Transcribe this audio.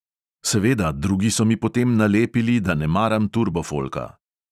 Seveda, drugi so mi potem nalepili, da ne maram turbofolka.